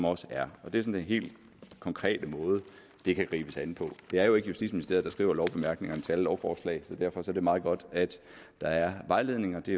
også er det er den helt konkrete måde det kan gribes an på det er jo ikke justitsministeriet der skriver lovbemærkningerne til alle lovforslag så derfor er det meget godt at der er vejledninger det